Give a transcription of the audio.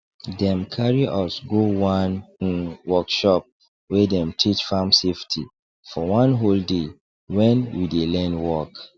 dem carry us go one um workshop wey dem teach farm safety for one whole day when we dey learn work